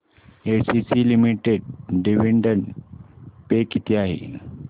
ACC limited dividend pay किती आहे